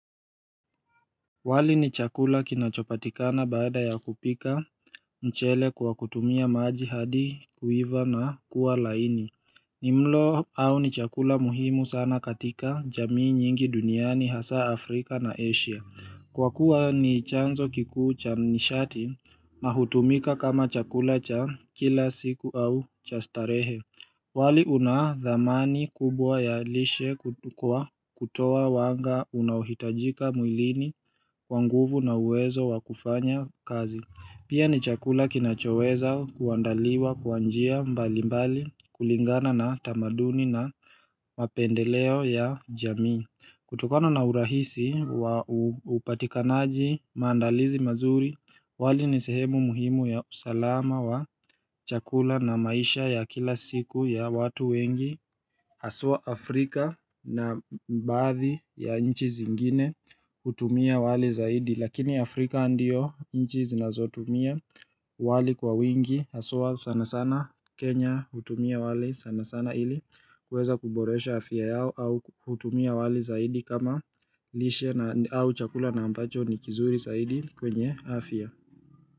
Wali ni chakula kinachopatikana baada ya kupika mchele kwa kutumia maji hadi kuiva na kuwa laini. Ni mlo au ni chakula muhimu sana katika jamii nyingi duniani hasa Afrika na Asia. Kwa kuwa ni chanzo kikuu cha nishati ma hutumika kama chakula cha kila siku au cha starehe. Wali una dhamani kubwa ya lishe kwa kutoa wanga unahitajika mwilini kwa nguvu na uwezo wa kufanya kazi Pia ni chakula kinachoweza kuandaliwa kwa njia mbalimbali kulingana na tamaduni na mapendeleo ya jamii kutokana na urahisi, upatikanaji maandalizi mazuri, wali ni sehemu muhimu ya usalama wa chakula na maisha ya kila siku ya watu wengi haswa Afrika na baadhi ya nchi zingine hutumia wali zaidi Lakini Afrika ndiyo nchi zinazotumia wali kwa wingi haswa sana sana Kenya hutumia wali sana sana ili kuweza kuboresha afia yao au hutumia wali zaidi kama lishia au chakula na ambacho ni kizuri zaidi kwenye afya.